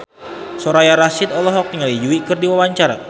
Soraya Rasyid olohok ningali Yui keur diwawancara